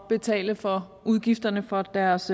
betale for udgifterne for deres